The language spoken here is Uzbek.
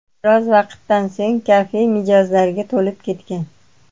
Biroz vaqtdan so‘ng kafe mijozlarga to‘lib ketgan.